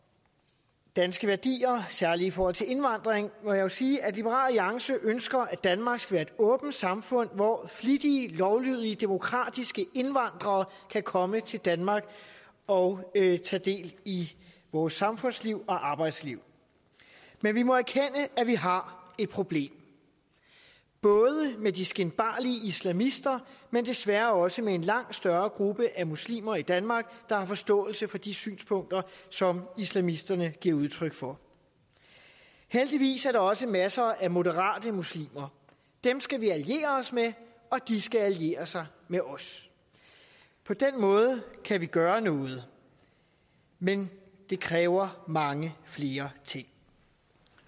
danske værdier særlig i forhold til indvandring må jeg jo sige at liberal alliance ønsker at danmark skal være et åbent samfund hvor flittige lovlydige demokratiske indvandrere kan komme til danmark og tage del i vores samfundsliv og arbejdsliv men vi må erkende at vi har et problem både med de skinbarlige islamister men desværre også med en langt større gruppe af muslimer i danmark der har forståelse for de synspunkter som islamisterne giver udtryk for heldigvis er der også masser af moderate muslimer dem skal vi alliere os med og de skal alliere sig med os på den måde kan vi gøre noget men det kræver mange flere ting